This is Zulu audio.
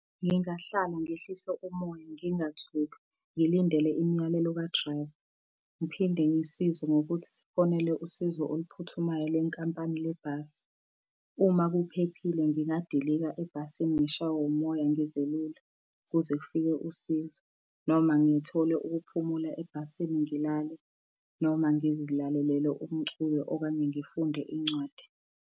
Ngingahlala ngehlise umoya, ngingathuki ngilindele imiyalelo ka-driver. Ngiphinde ngisize ngokuthi sifonele usizo oluphuthumayo lenkampani le bhasi. Uma kuphephile ngingadilika ebhasini ngishawe umoya, ngizelule, kuze kufike usizo noma ngithole ukuphumula ebhasini ngilale, noma ngizilalelele umculo okanye ngifunde incwadi.